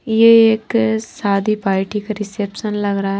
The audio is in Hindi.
ये एक शादी पार्टी का रिसेप्शन लग रहा है।